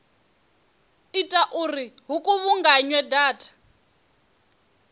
ita uri hu kuvhunganywe data